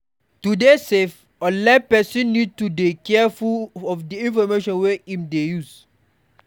To dey safe online person need to dey careful of di information wey im dey share